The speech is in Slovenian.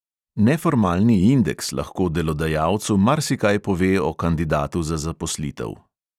Neformalni indeks lahko delodajalcu marsikaj pove o kandidatu za zaposlitev.